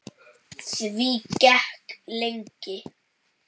Því gekk lengi.